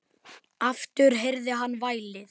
Aftur heyrði hann vælið.